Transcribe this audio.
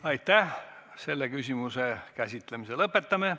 Lõpetame selle küsimuse käsitlemise.